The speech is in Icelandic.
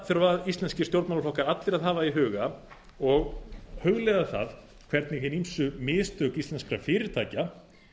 þurfa íslenskir stjórnmálaflokkar allir að hafa í huga og hugleiða það hvernig hin ýmsu mistök íslenskra fyrirtækja